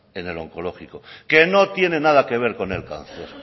en el oncológico que no tiene nada que ver con el cáncer